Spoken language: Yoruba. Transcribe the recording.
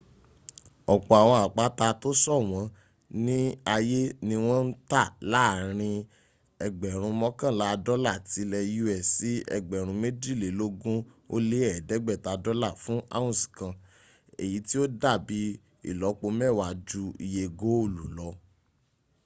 ọ̀pọ̀ àwọn àpáta tó ṣọ̀wọ́n ní ayé ní wọ́n ń tà láàrin ẹgbẹ̀rún mọ́kànlá dọ́là ti lẹ̀ us sí ẹgbẹ̀rún méjìlélógún ó lé ẹ̀ẹ́dẹ́gbẹ̀ta dọ́là fún ounce kan èyí tí ó dàbí ìlọ́pọ mẹ́wàá jú iye góòlù lọ